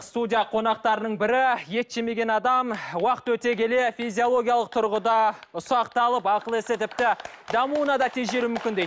студия қонақтарының бірі ет жемеген адам уақыт өте келе физиологиялық тұрғыда ұсақталып ақыл есі тіпті дамуына да тежелу мүмкін дейді